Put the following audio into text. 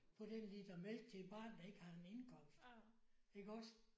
På den liter mælk til et barn der ikke har en indkomst iggås?